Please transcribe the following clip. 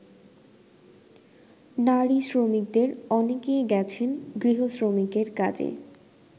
নারী শ্রমিকদের অনেকেই গেছেন গৃহ-শ্রমিকের কাজে।